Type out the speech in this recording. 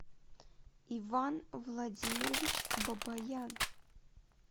иван владимирович бабаян